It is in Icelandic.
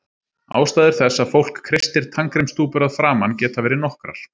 Ástæður þess að fólk kreistir tannkremstúpur að framan geta verið nokkrar.